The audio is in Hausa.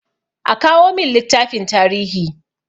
A kawo min littafin tarihi!